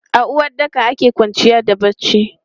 A uwaɗɗaka ake kwanciya da barci.